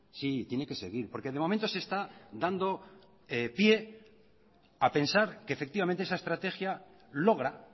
sí tiene que seguir porque de momento se está dando pie a pensar que efectivamente esa estrategia logra